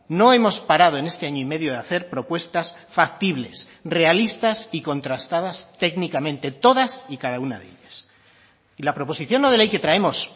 no hemos parado en este año y medio de hacer propuestas factibles realistas y contrastadas técnicamente todas y cada una de ellas y la proposición no de ley que traemos